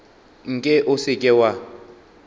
nke o se ke wa